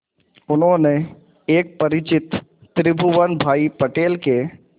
उन्होंने एक परिचित त्रिभुवन भाई पटेल के